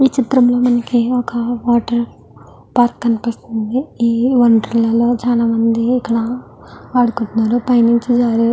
ఈ చిత్రం లో మనకి ఒక వాటర్ పార్క్ కనిపిస్తుంది. ఈ వండర్ లా లో చాలా మంది ఇక్కడ ఆడుకుంటున్నారు పై నించి జారీ --